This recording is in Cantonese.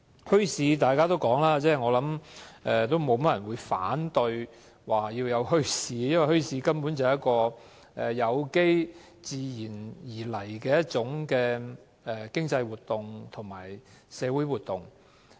應該沒有太多人會反對墟市的存在，因為墟市根本是有機及出於自然的一種經濟及社會活動。